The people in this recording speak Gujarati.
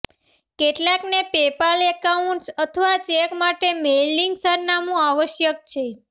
કેટલાકને પેપાલ એકાઉન્ટ્સ અથવા ચેક માટે મેઇલિંગ સરનામું આવશ્યક છે